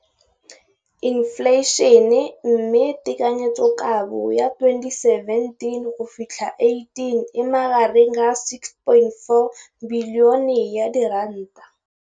Infleišene, mme tekanyetsokabo ya 2017, 18, e magareng ga R6.4 bilione.